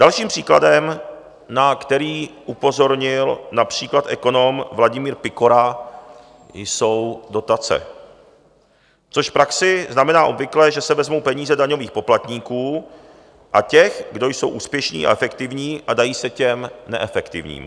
Dalším příkladem, na který upozornil například ekonom Vladimír Pikora, jsou dotace, což v praxi znamená obvykle, že se vezmou peníze daňových poplatníků a těch, kdo jsou úspěšní a efektivní, a dají se těm neefektivním.